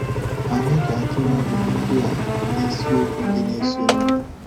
Anyị ga-atụle ajụjụ ndị a n’isiokwu ndị na-esonụ.